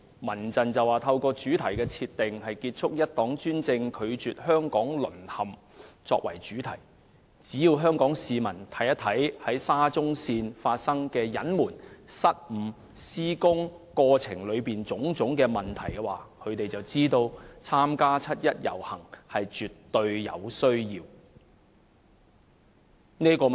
民陣把今年七一遊行的主題設定為"結束一黨專政，拒絕香港淪陷"，香港市民只要看看沙中線工程所涉及的隱瞞、失誤，以及施工過程中的種種問題，便知道絕對有需要參加七一遊行。